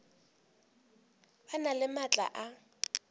ba na le maatla a